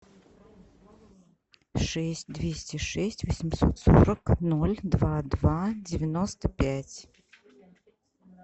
шесть двести шесть восемьсот сорок ноль два два девяносто пять